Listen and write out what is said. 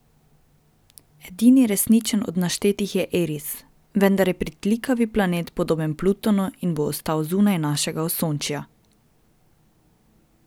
Edini resničen od naštetih je Eris, vendar je pritlikavi planet podoben Plutonu in bo ostal zunaj našega osončja.